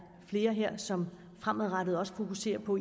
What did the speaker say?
flere her som fremadrettet også fokuserer på